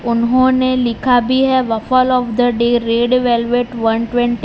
उन्होंने लिखा भी है waffle of the day red velvet one twenty.